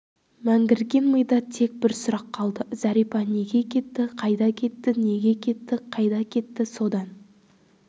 мәңгірген мида тек бір сұрақ қалды зәрипа неге кетті қайда кетті неге кетті қайда кетті содан